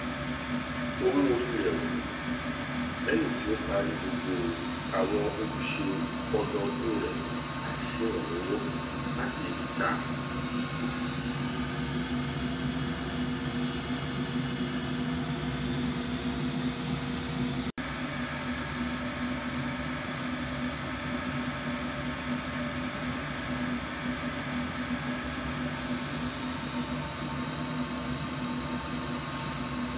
ó mú orí rẹ wú lẹyìn tí ó parí gbogbo àwọn ojúṣe ọdọọdún rẹ láì sí ìrànlọwọ láti ìta